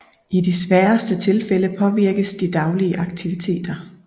I de sværeste tilfælde påvirkes de daglige aktiviteter